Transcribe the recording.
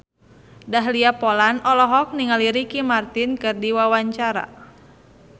Dahlia Poland olohok ningali Ricky Martin keur diwawancara